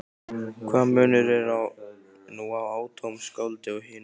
Hvaða munur er nú á atómskáldi og hinum?